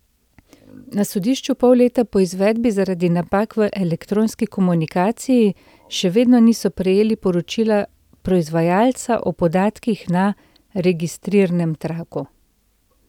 Na sodišču pol leta po poizvedbi zaradi napak v elektronski komunikaciji še vedno niso prejeli poročila proizvajalca o podatkih na registrirnem traku.